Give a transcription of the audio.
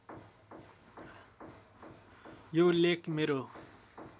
यो लेख मेरो